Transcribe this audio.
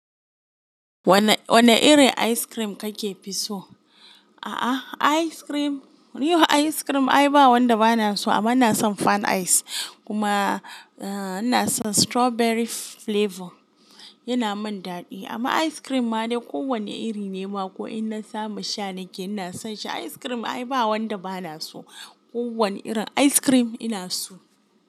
Wannewanne irin ice cream ka ka fi so? A'a, ice cream, ni a ice cream ai ba wanda ba na so amma ina san fan ice kuma, eh, ina san strawberry flavor. Yana min daɗi amma ice cream ma dai ko wanne iri ne ma ko in na samu sha nake ina son shi Ice cream ai ba wanda ba na so. Ko wane irin ice cream ina so.